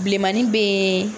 Bilenmanin bɛ yen